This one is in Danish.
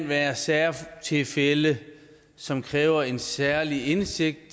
være særtilfælde som kræver en særlig indsigt